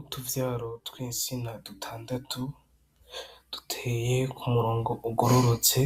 Utuvyaro tw'insina dutandatu, duteye ku murongo ugororotse